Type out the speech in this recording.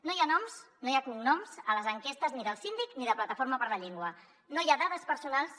no hi ha noms no hi ha cognoms a les enquestes ni del síndic ni de plataforma per la llengua no hi ha dades personals